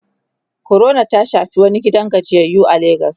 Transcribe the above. corona ta Shafi wani gidan gajiyayyu a legas